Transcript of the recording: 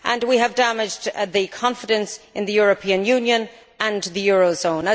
We have damaged confidence in the European Union and in the eurozone.